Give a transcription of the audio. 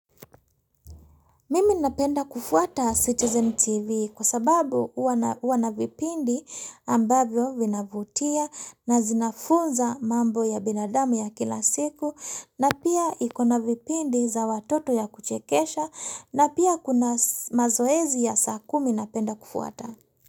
Mimi napenda kufuata Citizen TV kwa sababu huwa na vipindi ambavyo vinavutia na zinafunza mambo ya binadamu ya kila siku na pia ikona vipindi za watoto ya kuchekesha na pia kuna mazoezi ya saa kumi napenda kufuata.